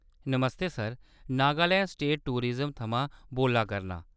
नमस्ते sir ! Nagaland state tourism थमां बोल्ला करनां।